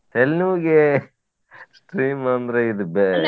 ತೆಲಿನೋವಿಗೆ steam ಅಂದ್ರ ಇದ್ .